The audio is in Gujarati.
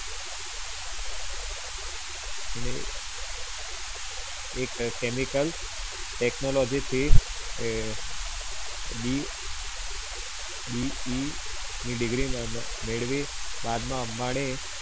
એને એક એ chemical technology થી BE ની degree મેળવી, બાદમાં અંબાણી